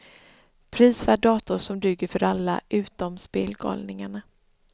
Prisvärd dator som duger för alla utom spelgalningarna.